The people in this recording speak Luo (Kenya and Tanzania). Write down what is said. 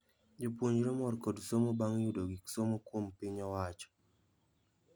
Jopuonjre mor kod somo bang' yudo gik somo kuom piny owacho